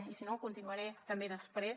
i si no continuaré també després